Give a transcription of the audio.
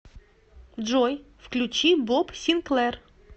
джой включи боб синклэр